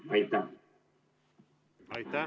Aitäh!